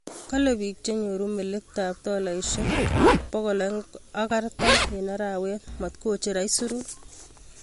Kalee piik chenyooru melekta ap tolaisiek 240 eng' arawet, maatkocher aisuruut